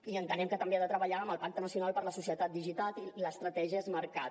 i entenem que també ha de treballar amb el pacte nacional per a la societat digital i l’estratègia smartcat